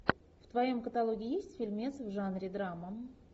в твоем каталоге есть фильмец в жанре драма